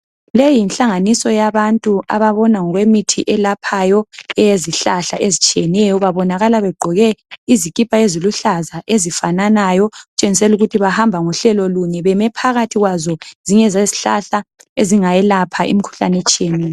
Leyi yinhlanganiso yabantu ,ababona ngokwemithi eyezihlahla ezitshiyeneyo. Babonakala begqoke izikhipha eziluhlaza ,ezifananayo okutshengiselukuthi bahamba ngohlelo lunye. Bemephakathi kwazo zingezezihlala ezingelapha imikhuhlane etshiyeneyo.